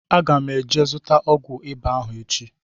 Aga m eje zụta ọgwụ ịba ahụ echi